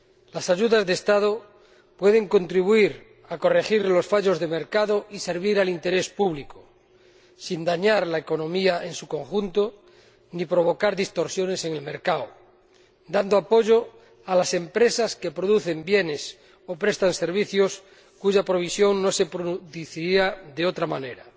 Las ayudas de Estado pueden contribuir a corregir los fallos del mercado y servir al interés público, sin dañar la economía en su conjunto ni provocar distorsiones en el mercado, prestando apoyo a las empresas que producen bienes o prestan servicios, cuya provisión no se produciría de otra manera.